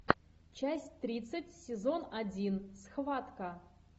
часть тридцать сезон один схватка